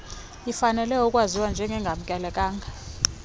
ifanelwe ukwaziwa njengengamkelekanga